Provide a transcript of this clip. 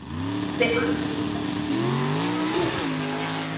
Ég sé andlit í þessu skýi, en þú?